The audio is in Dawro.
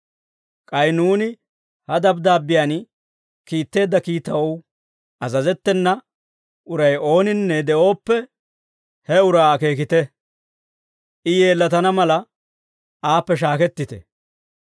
K'ay nuuni ha dabddaabbiyaan kiitteedda kiitaw azazettena uray ooninne de'ooppe, he uraa akeekite. I yeellatana mala, aappe shaakettite.